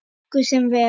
Okkur semur vel